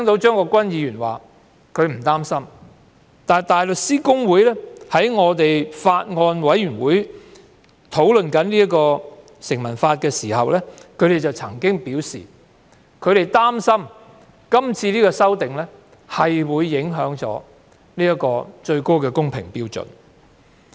張國鈞議員表示他並不擔心，但香港大律師公會在有關的法案委員會會議上討論《條例草案》時曾經表示，他們擔心是次修訂會影響高度公平標準。